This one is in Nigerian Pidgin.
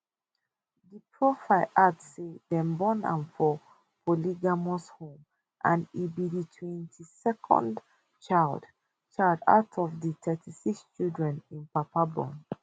di profile add say dem born am for polygamous home and e be di 22nd child child out of di 36 children im papa born